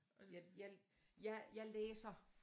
Jeg jeg jeg læser